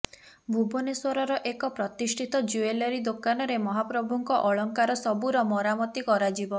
ଭୁବନେଶ୍ୱରର ଏକ ପ୍ରତିଷ୍ଠିତ ଜୁଏଲାରି ଦୋକାନରେ ମହାପ୍ରଭୁଙ୍କ ଅଳଙ୍କାର ସବୁର ମରାମତି କରାଯିବ